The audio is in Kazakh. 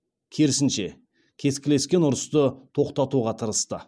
керісінше кескілескен ұрысты тоқтатуға тырысты